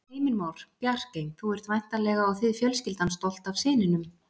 Heimir Már: Bjarkey, þú ert væntanlega og þið fjölskyldan stolt af syninum?